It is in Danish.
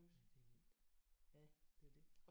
Ja det er vildt. Ja det er det